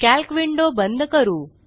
calc window बंद करू